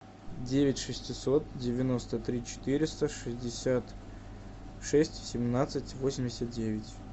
девять шестьсот девяносто три четыреста шестьдесят шесть семнадцать восемьдесят девять